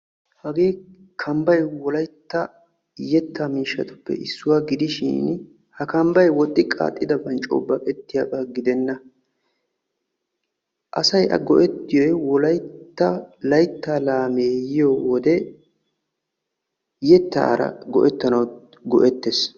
hagee kambbay wolaytta yetta miishshatuppe issuwaa gidishiin ha kambbay woxxi-qaaxidaban coo baqetiyaaga gidenna asay a go''ettiyoy wolaytta laytta laamme yiyyo wode yettaara go''ettanaw go''ettees.